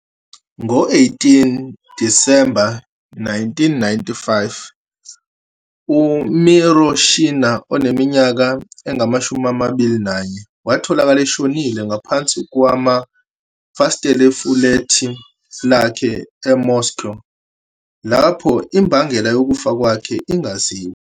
Ngo-18 Disemba 1995, uMiroshina oneminyaka engama-21 watholakala eshonile ngaphansi kwamafasitela efulethi lakhe eMoscow, lapho imbangela yokufa kwakhe ingaziwa.